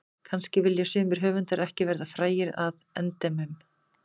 Kannski vilja sumir höfundar ekki verða frægir að endemum.